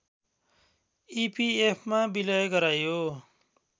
इपिएफमा विलय गराइयो